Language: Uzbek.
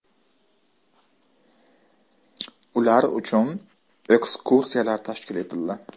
Ular uchun ekskursiyalar tashkil etildi.